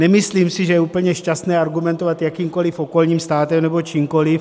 Nemyslím si, že je úplně šťastné argumentovat jakýmkoliv okolním státem nebo čímkoliv.